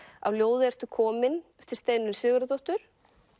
af ljóði ertu komin eftir Steinunni Sigurðardóttur